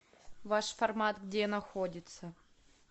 ваш формат где находится